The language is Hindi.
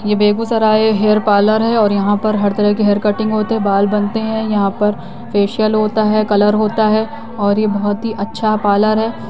ये बेगुसराय हेयर पार्लर है और यहाॅं पर हर तरह के हेयर कटिंग होते हैं बाल बनते है यहाॅं पर फेसियल होता हैं कलर होता है और ये बहोत ही अच्छा पार्लर है।